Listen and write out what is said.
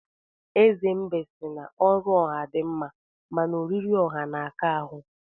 Eze mbe si na ọrụ ọha di mma, mana oriri ọha na-aka ahụ.